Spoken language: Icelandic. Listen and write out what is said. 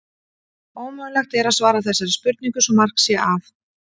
ómögulegt er að svara þessari spurningu svo mark sé að